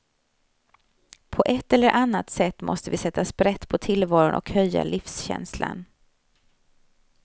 På ett eller annat sätt måste vi sätta sprätt på tillvaron och höja livskänslan.